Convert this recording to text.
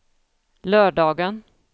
lördagen